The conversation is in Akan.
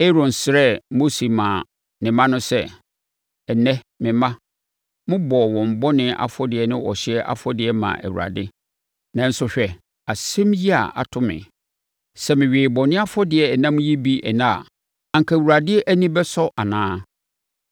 Aaron srɛɛ Mose maa ne mma no sɛ, “Ɛnnɛ me mma no bɔɔ wɔn bɔne afɔdeɛ ne ɔhyeɛ afɔdeɛ maa Awurade. Nanso hwɛ asɛm yi a ato me. Sɛ mewee bɔne afɔdeɛ ɛnam yi bi ɛnnɛ a, anka Awurade ani bɛsɔ anaa?”